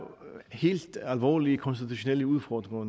helt alvorlige konstitutionelle udfordringer